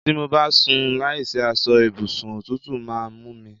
Tí mo bá sùn láìsí aṣọ ibùsùn òtútù máa ń mú mí